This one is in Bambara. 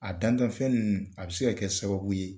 A dantanfɛn nunnu a bɛ se ka kɛ sababu ye